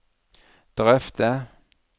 drøfte